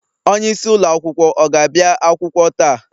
onyeisi ụlọ akwụkwọ ọ ga-abịa akwụkwọ taa?